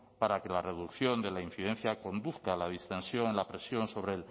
para que la reducción de la incidencia conduzca la distensión y la presión sobre